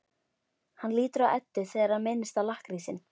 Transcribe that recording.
Hann lítur á Eddu þegar hann minnist á lakkrísinn.